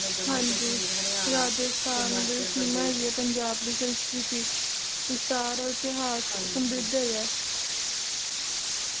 ਰਾਜਸਥਾਨ ਮਹਿਮਾ ਹੈਗੀ ਏ ਪੰਜਾਬ ਦੀ ਸੰਸਕ੍ਰਿਤੀ ਵਿਸਥਾਰ ਔਰ ਇਤਿਹਾਸ ਸਮਰਿਧ ਹੈਗਾ